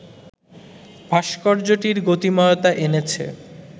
ভাস্কর্যটির গতিময়তা এনেছে